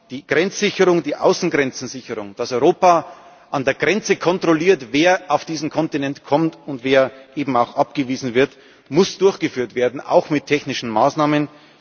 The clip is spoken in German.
Die Grenzsicherung, die Sicherung der Außengrenzen, dass Europa an der Grenze kontrolliert, wer auf diesen Kontinent kommt und wer eben auch abgewiesen wird, muss durchgeführt werden, auch mit technischen Maßnahmen.